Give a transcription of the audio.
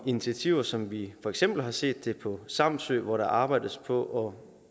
initiativer som vi for eksempel har set på samsø hvor der arbejdes på